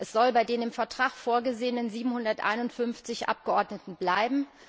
Es soll bei den im Vertrag vorgesehenen 751 Abgeordneten bleiben.